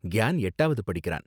கியான் எட்டாவது படிக்கிறான்.